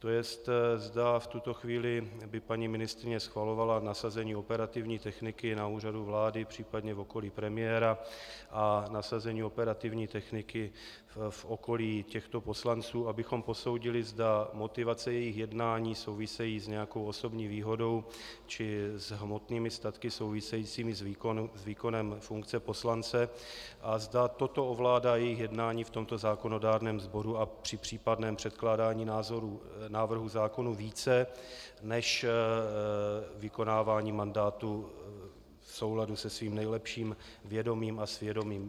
To jest, zda v tuto chvíli by paní ministryně schvalovala nasazení operativní techniky na Úřadu vlády, případně v okolí premiéra, a nasazení operativní techniky v okolí těchto poslanců, abychom posoudili, zda motivace jejich jednání souvisejí s nějakou osobní výhodou či s hmotnými statky souvisejícími s výkonem funkce poslance a zda toto ovládá jejich jednání v tomto zákonodárném sboru a při případném předkládání návrhů zákonů více než vykonávání mandátu v souladu se svým nejlepším vědomím a svědomím.